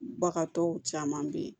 Bagan tɔw caman bɛ yen